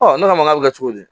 ne k'a ma k'a bɛ ka kɛ cogo di